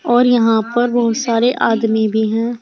और यहां पर बहोत सारे आदमी भी हैं।